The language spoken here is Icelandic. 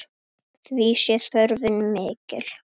Því sé þörfin mikil.